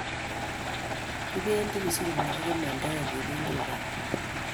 Kipendi kisumu ak kimandaen kepee Uganda